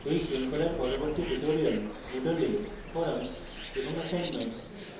এই শৃঙ্খলার পরবর্তী tutorial moodle এ forums এবং assignments